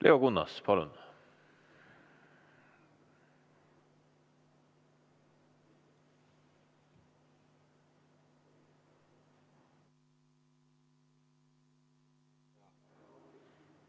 Leo Kunnas, palun!